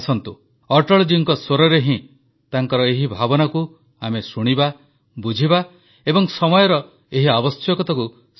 ଆସନ୍ତୁ ଅଟଳଜୀଙ୍କ ସ୍ୱରରେ ହିଁ ତାଙ୍କର ଏହି ଭାବନାକୁ ଆମେ ଶୁଣିବା ବୁଝିବା ଏବଂ ସମୟର ଏହି ଆବଶ୍ୟକତାକୁ ସ୍ୱୀକାର କରିବା